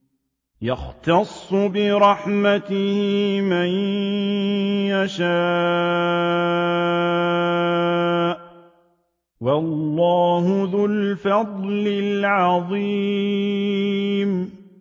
يَخْتَصُّ بِرَحْمَتِهِ مَن يَشَاءُ ۗ وَاللَّهُ ذُو الْفَضْلِ الْعَظِيمِ